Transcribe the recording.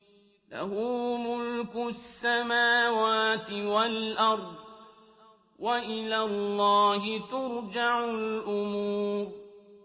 لَّهُ مُلْكُ السَّمَاوَاتِ وَالْأَرْضِ ۚ وَإِلَى اللَّهِ تُرْجَعُ الْأُمُورُ